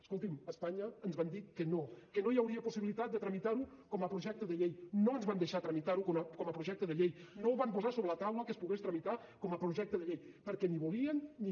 escolti’m espanya ens van dir que no que no hi hauria possibilitat de tramitar ho com a projecte de llei no ens van deixar tramitar ho com a projecte de llei no van posar sobre la taula que es pogués tramitar com a projecte de llei perquè ni volien ni